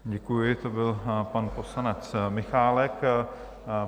Děkuji, to byl pan poslanec Michálek.